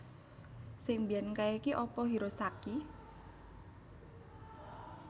Sing mbiyen kae ki apa Hirosaki